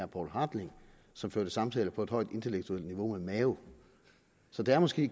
poul hartling som første samtaler på et højt intellektuelt niveau med mao så det er måske